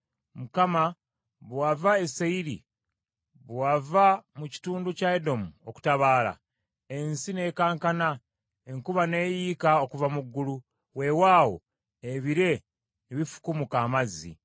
“ Mukama , bwe wava e Seyiri, bwe wava mu kitundu kya Edomu okutabaala, ensi n’ekankana, enkuba n’eyiika okuva mu ggulu. Weewaawo, ebire ne bifukumuka amazzi.